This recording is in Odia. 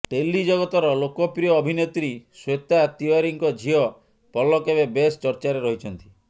ଟେଲି ଜଗତର ଲୋକପ୍ରିୟ ଅଭିନେତ୍ରୀ ଶ୍ୱେତା ତିଓ୍ବାରୀଙ୍କ ଝିଅ ପଲକ୍ ଏବେ ବେଶ୍ ଚର୍ଚ୍ଚାରେ ରହିଛନ୍ତି